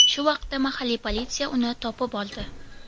Shu vaqtda mahalliy politsiya uni topib oldi.